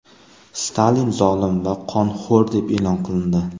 Stalin zolim va qonxo‘r deb e’lon qilindi.